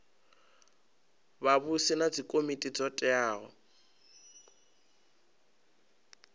vhavhusi na dzikomiti dzo teaho